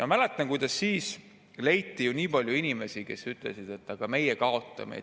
Ma mäletan, kuidas leiti nii palju inimesi, kes ütlesid, et nemad kaotavad.